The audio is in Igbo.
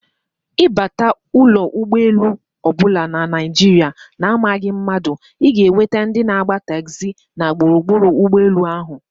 Ịbata ụlọ egbolu ọbụla na Naijiria na amaghị mmadụ, ịga enweta ndị na agba taxi na gburugburu ụgbọ elu ahụ